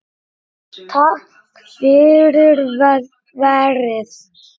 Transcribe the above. Takk fyrir verið